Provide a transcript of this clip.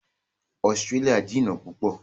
Australia jìnà púpọ̀